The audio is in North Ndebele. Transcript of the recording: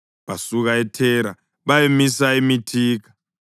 Basuka eThera bayamisa eMithika.